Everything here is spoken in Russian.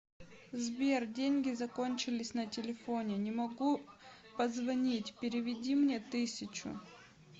сбер деньги закончились на телефоне не могу позвонить переведи мне тысячу